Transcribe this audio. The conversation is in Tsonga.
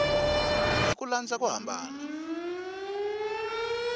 hi ku landza ku hambana